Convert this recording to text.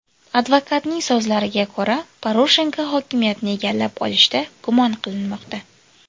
Advokatning so‘zlariga ko‘ra, Poroshenko hokimiyatni egallab olishda gumon qilinmoqda.